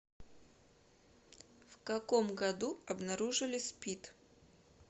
в каком году обнаружили спид